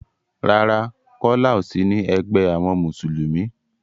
Rárá, Kọ́lá ò sí ní egbé àwọn Mùsùlùmí.